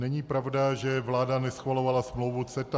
Není pravda, že vláda neschvalovala smlouvu CETA.